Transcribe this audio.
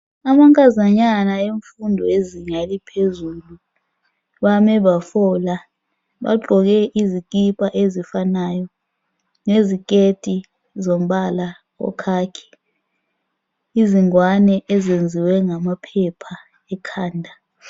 amankazanyana emfundo lezinga eliphezulu bame bafola bagqoke izikipa ezifanayo leziketi zombala oyi khakhi izingwane ezenziwe ngamaphepha ekhanda